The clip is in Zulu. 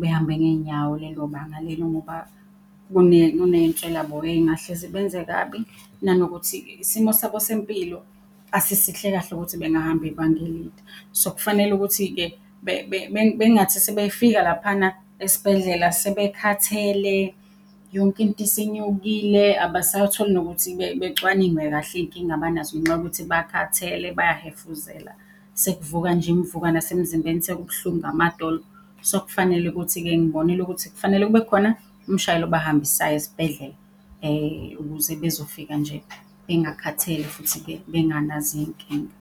behambe ngey'nyawo lelo banga lelo ngoba kuney'nswelaboya ey'ngahle zibenze kabi. Nanokuthi isimo sabo sempilo asisihle kahle ukuthi bengahamba ibanga elide. So kufanele ukuthi-ke bengathi sebefika laphana esibhedlela sebekhathele, yonke into isinyukile, abasakutholi nokuthi becwaningwe kahle iy'nkinga abanazo ngenxa yokuthi bakhathele, bayahefuzela, sekuvuka nje iy'mvuka nasemzimbeni, sekubuhlungu amadolo. Ngibonile ukuthi kufanele kube khona umshayeli obahambisayo esibhedlela ukuze bezofika nje bengakhathele, futhi-ke benganazo iy'nkinga.